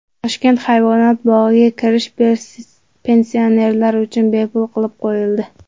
Toshkent hayvonot bog‘iga kirish pensionerlar uchun bepul qilib qo‘yildi.